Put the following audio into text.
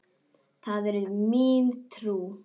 Það er mín trú.